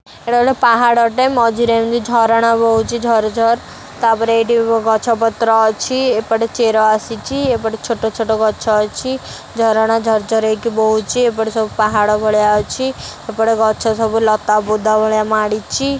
ଏଇଟା ଗୋଟେ ପାହାଡ଼ଟେ ମଝିରେ ଏମିତି ଝରଣା ବୋହୁଛି ଝର ଝର ତା ପରେ ଏଠି ଗଛ ପତ୍ର ଅଛି ଏପଟେ ଚେର ଆସିଛି ଏପଟେ ଛୋଟ ଛୋଟ ଗଛ ଅଛି ଝରଣା ଝର ଝର ହେଇକି ବୋହୁଛି ଏପଟେ ସବୁ ପାହାଡ ଭଳିଆ ଅଛି ଏପଟେ ଗଛ ସବୁ ଲତା ବୁଦା ଭଳିଆ ମାଡ଼ିଛି।